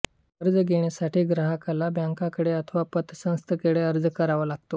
कर्ज घेण्यासाठी ग्राहकाला बँकेकडे अथवा पत संस्थेकडे अर्ज करावा लागतो